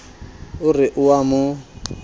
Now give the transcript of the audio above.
o re o a mo